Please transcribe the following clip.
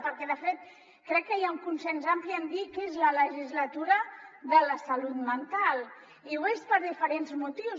perquè de fet crec que hi ha un consens ampli en dir que és la legislatura de la salut mental i ho és per diferents motius